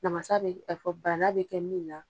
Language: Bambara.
Namasa bɛ bɛ kɛ min na.